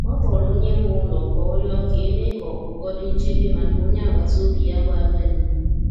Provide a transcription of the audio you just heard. Ọ kpọrọ onye nwe ụlọ ka ọ rịọ ka e mee ka ọkpọkọ di nchebe maka onye agbata obi ya bụ agadi.